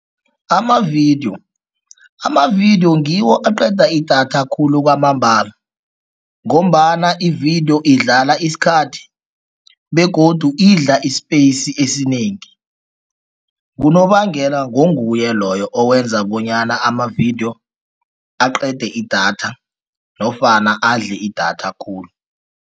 Amavidiyo, amavidiyo ngiwo aqeda idatha khulu kwamambala ngombana ividiyo idlala isikhathi begodu idla i-space esinengi. Ngunobangela, ngonguye loyo owenza bonyana amavidiyo aqede idatha nofana adle idatha khulu.